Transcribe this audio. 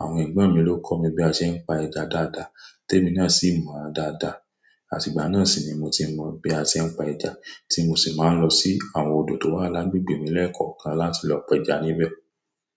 Àwọn ẹ̀gbọ́n mi ló kọ́ mi bí a ṣe ń pa ẹja dáadáa, té mi náà sì mọ̀ dáadáa. Àtigba náà sì ni mo ti mọ bí a ṣe ń pa ẹja, tí mo sì máa ń lọ sí àwọn odò tó wà lágbègbè mi lẹ́ẹ̀kokan láti lọ pẹja níbẹ̀.